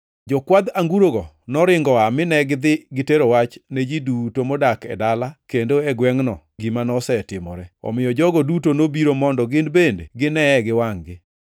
Jokwadh angurogo noringo oa mine gidhi gitero wach ne ji duto modak e dala kendo e gwengʼno gima nosetimore, omiyo jogo duto nobiro mondo gin bende gineye gi wangʼ-gi.